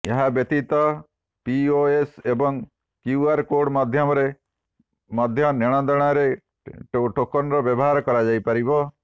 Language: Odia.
ଏହା ବ୍ୟତୀତ ପିଓଏସ୍ ଏବଂ କ୍ୟୁଆର୍ କୋର୍ଡ ମାଧ୍ୟମରେ ମଧ୍ୟ ନେଣଦେଣରେ ଟୋକନର ବ୍ୟବହାର କରାଯାଇପାରିବ